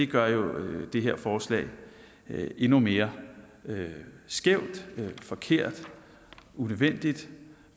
gør det her forslag endnu mere skævt forkert unødvendigt